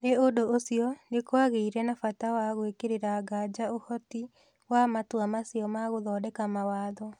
Nĩ ũndũ ũcio, nĩ kwagĩire na bata wa gwĩkĩrĩra nganja ũhoti wa matua macio ma gũthondeka mawatho.